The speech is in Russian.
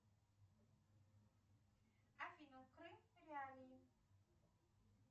афина крым реалии